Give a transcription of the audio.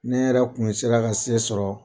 Ne yɛrɛ kun bɛ sera ka se sɔrɔ